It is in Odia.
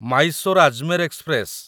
ମାଇସୋର ଆଜମେର ଏକ୍ସପ୍ରେସ